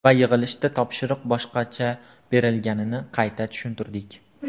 Va yig‘ilishda topshiriq boshqacha berilganini qayta tushuntirdik.